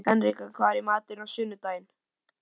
Henrika, hvað er í matinn á sunnudaginn?